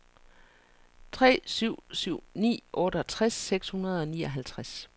tre syv syv ni otteogtres seks hundrede og nioghalvtreds